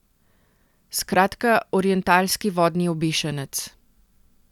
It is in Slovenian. Skratka orientalski vodni obešenec.